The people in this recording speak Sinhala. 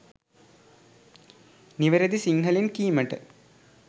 නිවැරදි සිංහලෙන් කීමට